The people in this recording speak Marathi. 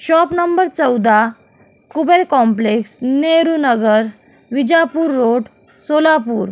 शॉप नंबर चौदा कुबेर कॉम्प्लेक्स नेहरू नगर विजापूर रोड सोलापूर.